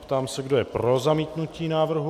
Ptám se, kdo je pro zamítnutí návrhu.